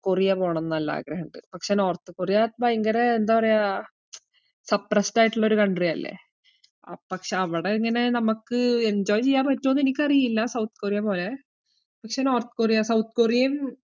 Korea പോണംന്ന് നല്ല ആഗ്രഹിണ്ട്. പക്ഷേ നോർത്ത് കൊറിയ ഭയങ്കര എന്താ പറയാ suppressed ആയിട്ട്ള്ള ഒരു country അല്ലേ ആഹ് പക്ഷേ അവിടെ ഇങ്ങനെ നമക്ക് enjoy ചെയ്യാൻ പറ്റുവോന്ന് എനിക്കറിയില്ല, സൗത്ത് കൊറിയ പോലെ. പക്ഷേ നോർത്ത് കൊറിയ സൗത്ത് കൊറിയയും